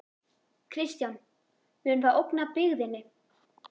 Kristján: Mun það ógna byggðinni?